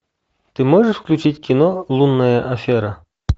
ты можешь включить кино лунная афера